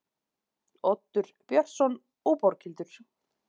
Oddur Björnsson og Borghildur